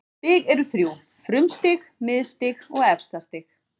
Stig eru þrjú: frumstig, miðstig og efstastig.